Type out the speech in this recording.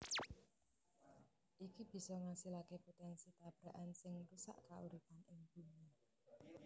Iki bisa ngasilaké potènsi tabrakan sing ngrusak kauripan ing Bumi